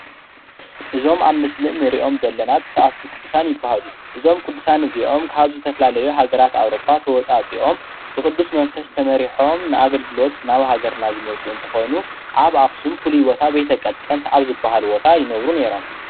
እዞሞ አብ ምስሊ እንሪኦሞ ዘለና ቱሱኣቱ ቅዱሳን ይበሃሉ። እዞም ቅዱሳን እዚኦም ካብ ዝተፈላለዩ ሃገራት ኣውሮፓ ተዋጻጺኦም ብቅዱስ መንፈስ ተመሪሖም ንኣገልግሎት ናብ ሃገርና ዝመጹ ኾይኖም ኣብ ኣክሱም ፍሉይ ቦታ ቤተ ቀጠንት ኣብ ዝበሃል ቦታ ይነብሩን ነይሮሞ።